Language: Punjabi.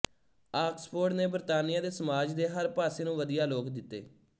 ਆਕਸਫ਼ੋਰਡ ਨੇ ਬਰਤਾਨੀਆ ਦੇ ਸਮਾਜ ਦੇ ਹਰ ਪਾਸੇ ਨੂੰ ਵਧੀਆ ਲੋਕ ਦਿੱਤੇ